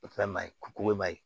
O fɛn ma ɲi k'o ma